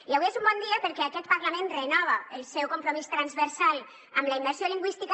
i avui és un bon dia perquè aquest parlament renova el seu compromís transversal amb la immersió lingüística